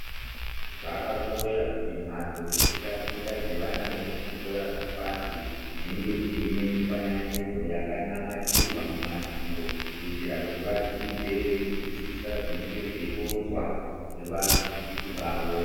Zvakakosha kuti mhatso dzekutaticha dzevana vemuzvikora zvepashi dzinge dziine mifananidzo yakamamirwa mumadziro kuitira kuti vadzidze veizwisisa zvinenge zveironzwa ngevadzidzisi vavo.